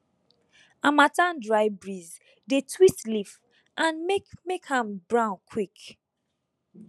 harmattan dry breeze dey twist leaf and make make am brown quick